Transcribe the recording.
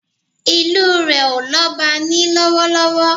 Ìlu rẹ̀ ò lọ́ba ní lọ́wọ́lọ́wọ́